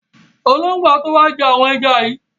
Ológbò á tó wá jẹ́ àwọn ẹja yìí.